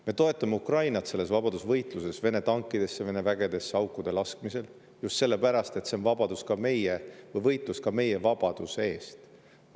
Me toetame Ukrainat tema vabadusvõitluses, Vene tankidesse, Vene vägedesse aukude laskmisel just sellepärast, et see on võitlus ka meie vabaduse eest.